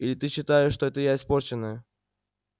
или ты считаешь что это я испорченная